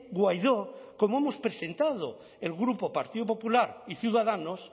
guaidó como hemos presentado el grupo partido popular y ciudadanos